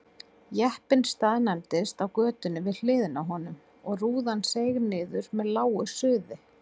Jeppinn staðnæmdist á götunni við hliðina á honum og rúðan seig niður með lágu suði.